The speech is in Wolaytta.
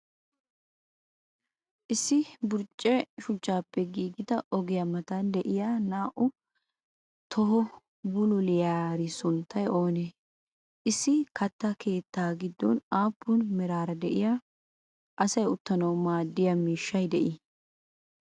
issi burcce shuchchappe giggida ogiyaa matan de7iya naa7u toho bululliyari sunttay oonee? issi kattaa keettaa giddon appun meraara de7iya asaay uttanawu maadiya miishshay de7i?